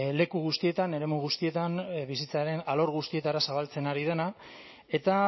leku guztietan eremu guztietan bizitzaren alor guztietara zabaltzen ari dena eta